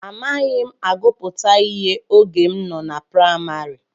Amaghị m agụpụta ihe oge m nọ na praịmarị.